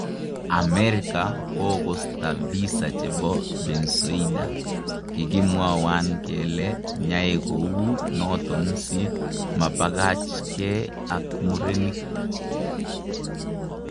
Amerika kokosta visa chepo Bensoida ," kikimwawan kele nyaekou naton si mapakachnge ak murenik